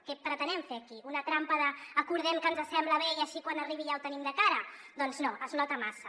què pretenem fer aquí una trampa acordem que ens sembla bé i així quan arribi ja ho tenim de cara doncs no es nota massa